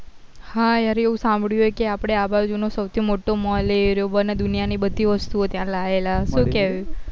હા યાર એવું સાભળ્યું કે આપડે આ બાજુ નો સો થી મોટો mall એ રહ્યો બન્યો દુનિયા ની બધી વસ્તુ ઓ ત્યાં લાવેલા છે શું કેવું